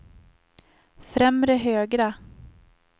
främre högra